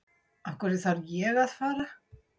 Af hverju þarf ég að fara?